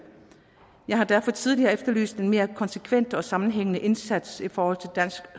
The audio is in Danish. jeg har derfor tidligere efterlyst en mere konsekvent og sammenhængende indsats i forhold til